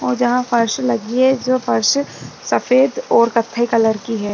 जहां फर्श लगी है जो फर्श सफेद और कफे कलर की है।